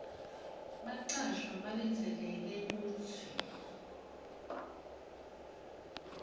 bacashwa balindzeleke kutsi